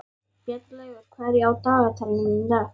Bjarnlaugur, hvað er á dagatalinu í dag?